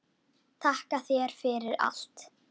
Þakka þér fyrir allt.